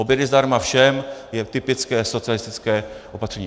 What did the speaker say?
Obědy zdarma všem je typické socialistické opatření.